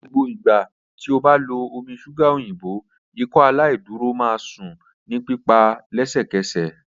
Ni gbogbo igba ti o ba lo omi ṣuga oyinbo Ikọaláìdúró, o ma sun ni pipa lẹsẹkẹsẹ